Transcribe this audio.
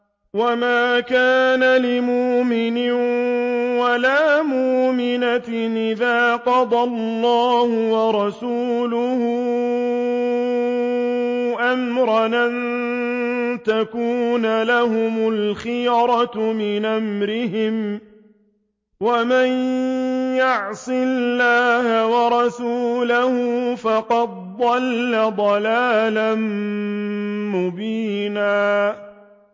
وَمَا كَانَ لِمُؤْمِنٍ وَلَا مُؤْمِنَةٍ إِذَا قَضَى اللَّهُ وَرَسُولُهُ أَمْرًا أَن يَكُونَ لَهُمُ الْخِيَرَةُ مِنْ أَمْرِهِمْ ۗ وَمَن يَعْصِ اللَّهَ وَرَسُولَهُ فَقَدْ ضَلَّ ضَلَالًا مُّبِينًا